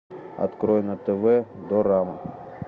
открой на тв дорама